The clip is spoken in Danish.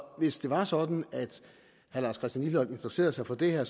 hvis det var sådan at herre lars christian lilleholt interesserede sig for det her